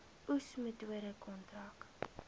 oes metode kontrak